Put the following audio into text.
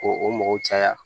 Ko o mɔgɔw caya